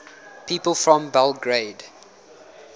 people from belgrade